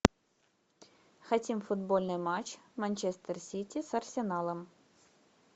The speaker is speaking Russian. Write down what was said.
хотим футбольный матч манчестер сити с арсеналом